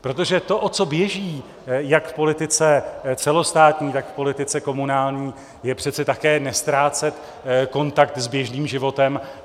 Protože to, o co běží jak v politice celostátní, tak v politice komunální, je přece také neztrácet kontakt s běžným životem.